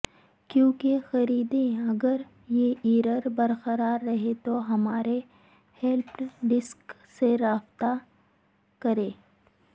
کیوں خریدیں اگر یہ ایرر برقرار رہے تو ہمارے ہیلپ ڈیسک سے رابطہ کریں